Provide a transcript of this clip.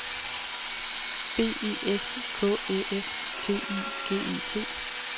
B E S K Æ F T I G E T